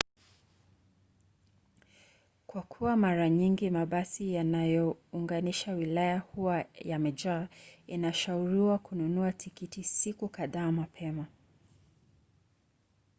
kwa kuwa mara nyingi mabasi yanayounganisha wilaya huwa yamejaa inashauriwa kununua tikiti siku kadhaa mapema